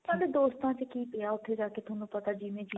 ਨਾਲੇ ਦੋਸਤਾਂ ਚ ਕੀ ਪਿਆ ਉੱਥੇ ਜਾ ਕੇ ਤੁਹਾਨੂੰ ਪਤਾ ਜਿਵੇਂ ਜਿਵੇਂ